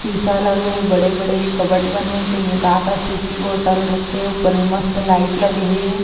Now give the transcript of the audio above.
शीशा लगे हे बड़े- बड़े कबड बने हे तेन में का- का शीशी बोतल रखे हे ऊपर में मस्त लाइट लगे हे।